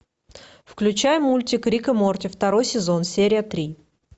включай мультик рик и морти второй сезон серия три